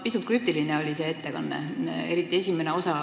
Pisut krüptiline oli see ettekanne, eriti selle esimene osa.